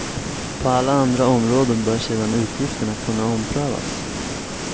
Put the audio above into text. På alla andra områden bör sedan utgifterna kunna omprövas.